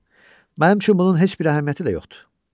Mənim üçün bunun heç bir əhəmiyyəti də yoxdur.